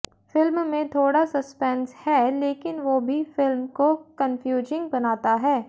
film में थोड़ा suspense है लेकिन वो भी फिल्म को कन्फ्यूजिंग बनाता है